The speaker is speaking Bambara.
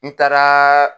N taaraa